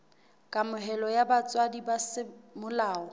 kamohelo ya botswadi ba semolao